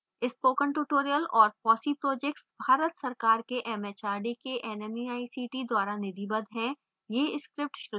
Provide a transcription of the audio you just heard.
spoken tutorial और fossee projects Bharat सरकार के mhrd के nmeict द्वारा निधिबद्ध हैं